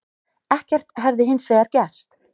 Ekkert hefði hins vegar gerst